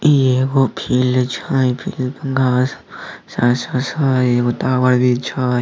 ई एगो फील्ड छै फील्ड पर घास भी छै एगो टावर भी छै।